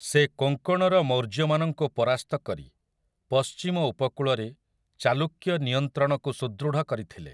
ସେ କୋଙ୍କଣର ମୌର୍ଯ୍ୟମାନଙ୍କୁ ପରାସ୍ତ କରି ପଶ୍ଚିମ ଉପକୂଳରେ ଚାଲୁକ୍ୟ ନିୟନ୍ତ୍ରଣକୁ ସୁଦୃଢ଼ କରିଥିଲେ ।